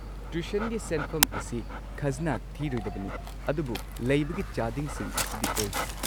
ꯇ꯭ꯌꯨꯁꯟꯒꯤ ꯁꯦꯟꯐꯝ ꯑꯁꯤ ꯈꯖꯅꯥ ꯊꯤꯔꯣꯏꯗꯕꯅꯤ, ꯑꯗꯨꯕꯨ ꯂꯩꯕꯒꯤ ꯆꯥꯗꯤꯡꯁꯤꯡ ꯑꯁꯤꯗꯤ ꯑꯣꯏ꯫